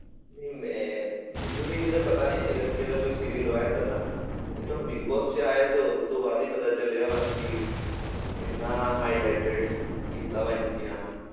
ਨਹੀਂ ਮੈਂ ਮੈਨੂੰ ਵੀ ਇਹਦਾ ਪਤਾ ਨਹੀਂ ਸੀਗਾ ਕਿ ਇਹਦਾ ਕੋਈ serial ਵਾ ਏਦਾਂ ਦਾ, ਇਹ ਤਾਂ ਹੁਣ ਬਿਗ ਬੋਸ ਵਿੱਚ ਆਇਆ ਤੇ ਉਸ ਤੋਂ ਬਾਅਦ ਹੀ ਪਤਾ ਚੱਲਿਆ ਵਾ ਵੀ ਇੰਨਾ highlighted ਕੀਤਾ ਵਾ ਇਹਨੂੰ ਕਿ ਹਾਂ।